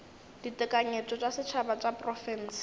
ditekanyetšo tša setšhaba tša diprofense